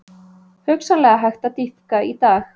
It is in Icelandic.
Hugsanlega hægt að dýpka í dag